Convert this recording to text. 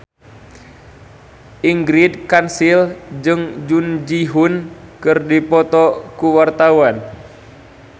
Ingrid Kansil jeung Jun Ji Hyun keur dipoto ku wartawan